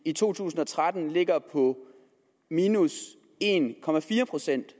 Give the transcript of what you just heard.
i to tusind og tretten på en procent